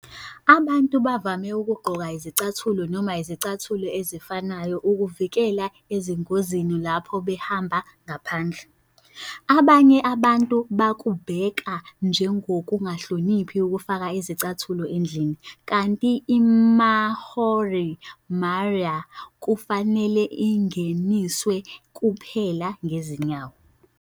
Abantu bavame ukugqoka izicathulo noma izicathulo ezifanayo ukuzivikela ezingozini lapho behamba ngaphandle. Abanye abantu bakubheka njengokungahloniphi ukufaka izicathulo endlini kanti iMaori Marae kufanele ingeniswe kuphela ngezinyawo.